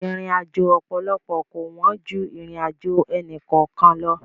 Ìrìnàjò ọ̀pọ̀lọpọ̀ kò wọ́n ju ìrìnàjò ẹnì kọ̀ọ̀kan lọ.